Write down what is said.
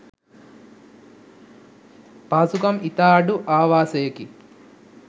පහසුකම් ඉතා අඩු ආවාසයකි.